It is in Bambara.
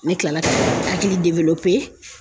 Ne kilala ka hakili